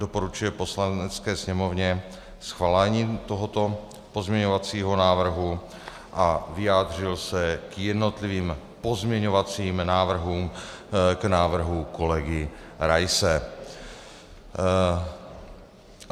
Doporučuje Poslanecké sněmovně schválení tohoto pozměňovacího návrhu a vyjádřil se k jednotlivým pozměňovacím návrhům k návrhu kolegy Raise.